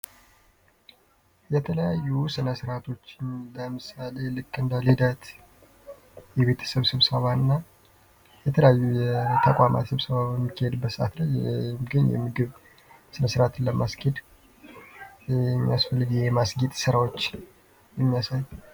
የተለያዩ ስነስራዓቶች ለምሳል ልክ እንደ ልዳት የቤት የቤተሰብ ስብሰባዎች እና የተለያዩ የተቋማት ስብሰባ የሚካሄድበት የምግብ ስነ ስራዓትን ለማስኬድ የሚያስፈልግ የማስጌጥ ስራዎች የሚያሳዩ።